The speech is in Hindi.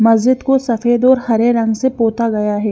मस्जिद को सफेद और हरे रंग से पोता गया है।